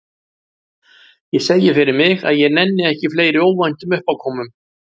Ég segi fyrir mig að ég nenni ekki fleiri óvæntum uppákomum.